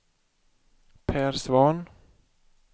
Per Svahn